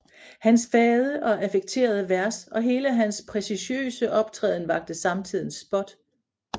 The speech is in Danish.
Hans fade og affekterede vers og hele hans precieuseagtige optræden vakte samtidens spot